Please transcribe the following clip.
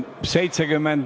Aitäh!